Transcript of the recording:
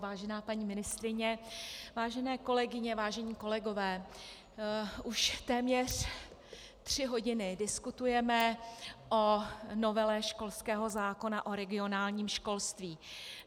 Vážená paní ministryně, vážené kolegyně, vážení kolegové, už téměř tři hodiny diskutujeme o novele školského zákona, o regionálním školství.